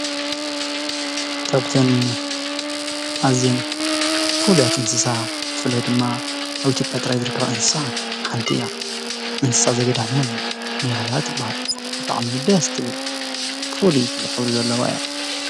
ካብተን ኣዝየን ፉሉያት እንስሳ ብፍላይ ድማ ኣብ ኢትዮጵያ ጥራሕ ዝርከባ እንስሳ ሓንቲ እያ፡፡ እንስሳ ዘገዳም ኒያላ ትብሃል። ብጣዕሚ ደስ ትብል ፍሉይ ሕብሪ ዘለዋ እያ፡፡